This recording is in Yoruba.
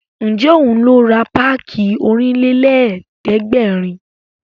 Ǹjẹ́ òun ló ra páàkì Ọ̀rìnlélẹ̀ẹ́dẹ́gbèrin